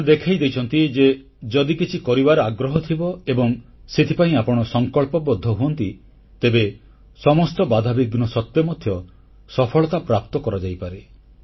ଏମାନେ ଦେଖାଇ ଦେଇଛନ୍ତି ଯେ ଯଦି କିଛି କରିବାର ଆଗ୍ରହ ଥିବ ଏବଂ ସେଥିପାଇଁ ଆପଣ ସଂକଳ୍ପବଦ୍ଧ ହୁଅନ୍ତି ତେବେ ସମସ୍ତ ବାଧାବିଘ୍ନ ସତ୍ତ୍ୱେ ମଧ୍ୟ ସଫଳତା ପ୍ରାପ୍ତ କରାଯାଇପାରେ